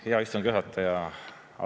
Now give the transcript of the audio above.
Hea istungi juhataja!